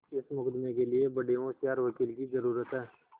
इस मुकदमें के लिए बड़े होशियार वकील की जरुरत है